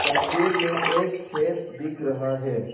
तस्वीर में एक खेत दिख रहा है।